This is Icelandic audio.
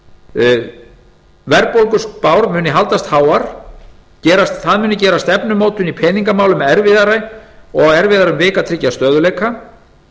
fyrr verðbólguspár munu haldast háar það muni gera stefnumótun í peningamálum erfiðari og erfiðara um vik að tryggja stöðugleika